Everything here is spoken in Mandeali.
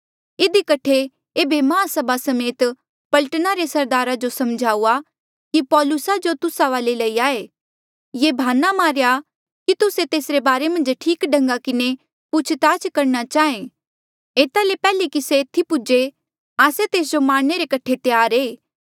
इधी कठे एेबे माहसभा समेत पलटना रे सरदारा जो समझाऊआ कि पौलुसा जो तुस्सा वाले लई आये ये भाना मारेया कि तुस्से तेसरे बारे मन्झ ठीक ढन्गा किन्हें पूछ ताछ करणा चाहें एता ले पैहले कि से एथी पूजे आस्से तेस जो मारणे रे कठे त्यार ऐें